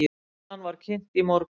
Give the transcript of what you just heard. Skýrslan var kynnt í morgun.